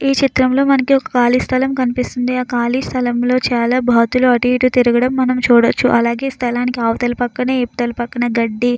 ఈ చిత్రంలో మనకి ఒక కాలుష్యం కనిపిస్తుంది. ఆ ఖాళీ స్థలంలో చాలా బాతులు అటు ఇటు తిరగడం మనం చూడొచ్చు. అలాగే స్థలానికి అవతల పక్కనే ఇవతల పక్కనే గడ్డి --